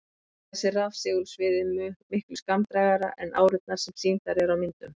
Auk þess er rafsegulsviðið miklu skammdrægara en árurnar sem sýndar eru á myndum.